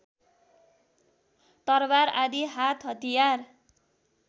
तरबार आदि हातहतियार